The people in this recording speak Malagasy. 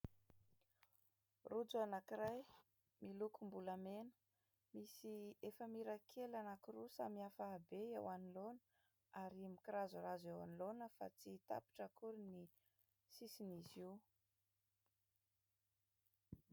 Rojo anankiray milokom-bolamena, misy efamira kely anankiroa samy hafa habe eo anoloana, ary mikirazorazo eo anoloana fa tsy tapitra akory ny sisin' izy io.